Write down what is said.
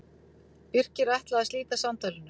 Birkir ætlaði að slíta samtalinu.